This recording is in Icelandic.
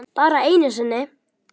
Bara einu sinni?